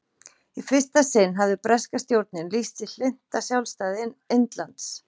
í fyrsta sinn hafði breska stjórnin lýst sig hlynnta sjálfstæði indlands